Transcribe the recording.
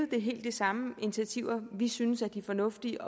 det er helt de samme initiativer vi synes er de fornuftige